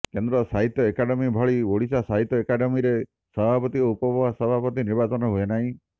କେନ୍ଦ୍ର ସାହିତ୍ୟ ଏକାଡେମୀ ଭଳି ଓଡିଶା ସାହିତ୍ୟ ଏକାଡେମିରେ ସଭାପତି ଓ ଉପ ସଭାପତି ନିର୍ବାଚନ ହୁଏନାହିଁ